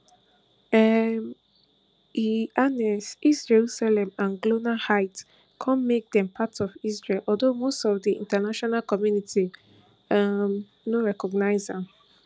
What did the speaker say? um e annex east jerusalem and golan heights come make dem part of israel although most of di international community um no recognise am